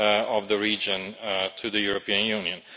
of the region to the European Union.